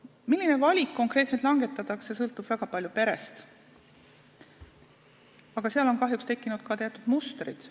Milline valik konkreetselt langetatakse, sõltub väga palju perest, aga seal on kahjuks tekkinud ka teatud mustrid.